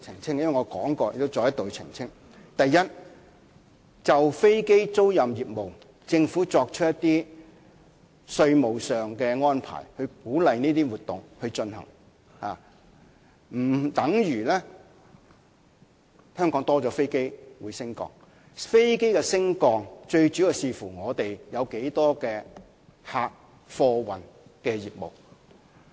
第一，政府就飛機租賃業務作出一些稅務上的安排，以鼓勵這些活動進行，不等於香港會多了飛機升降，飛機升降量最主要視乎香港有多少客貨運的業務。